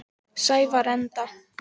Sævarenda